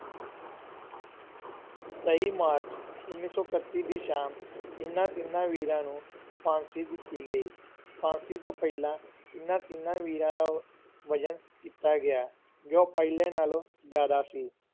ਤੇਈ ਮਾਰਚ ਉੱਨੀ ਸੌ ਇਕੱਤੀ ਦੀ ਸ਼ਾਮ ਇਹਨਾਂ ਤਿੰਨਾਂ ਵੀਰਾਂ ਨੂੰ ਫਾਂਸੀ ਦਿੱਤੀ ਗਈ, ਫਾਂਸੀ ਤੋਂ ਪਹਿਲਾਂ ਇਹਨਾਂ ਤਿੰਨਾਂ ਵੀਰਾਂ ਦਾ ਵਜ਼ਨ ਕੀਤਾ ਗਿਆ, ਜੋ ਪਹਿਲਾਂ ਨਾਲੋਂ ਜ਼ਿਆਦਾ ਸੀ।